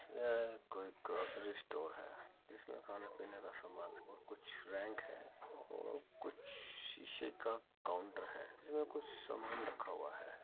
यह कोई grocery store है जिसमें खाने पीने का समान और कुछ रैंक हैं कुछ शीशे का काउंटर है जिसमें कुछ समान रखा हुआ है।